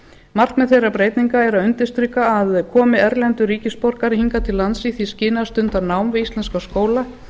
markmið þeirra breytinga er að undirstrika að komi erlendur ríkisborgari hingað til lands í því skyni að stunda nám við íslenska skóla